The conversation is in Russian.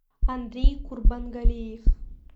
андрей курбангалиев